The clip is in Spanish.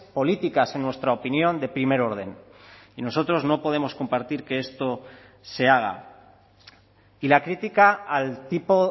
políticas en nuestra opinión de primer orden y nosotros no podemos compartir que esto se haga y la crítica al tipo